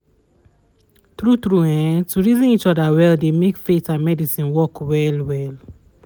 tru tru[um]to reason each other well dey make faith and medicine work well well